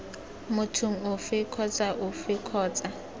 mothong ofe kgotsa ofe kgotsa